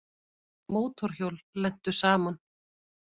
Mótorhjól lentu saman